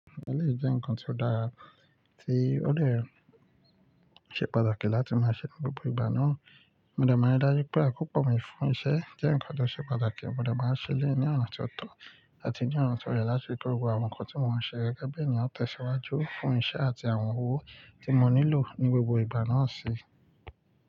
Eleyii jẹ́ ǹnkan ti o dára tí ó de ṣe pàtàkì láti máa ṣe ní gbogbo ìgbà náà. Mo dẹ̀ ma ri dájú pé àkópọ̀ mi fún iṣẹ́ jẹ́ ǹkan tó ṣe pàtàkì, mo dẹ̀ máa ṣe eleyii ní ọ̀nà tó tọ́ àti ní ọ̀nà tó yẹ láti fi gbóòró àwọn ǹkan tí mo máa ṣe gẹ́gẹ́ bí ènìyàn tẹ̀síwájú fún iṣẹ́ àti àwọn owó tí mo nílò ní gbogbo ìgbà náà sì.